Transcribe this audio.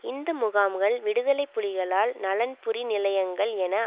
இந்த முகாம்கள் விடுதலை புலிகளால் நலன்புரி நிலையங்கள் என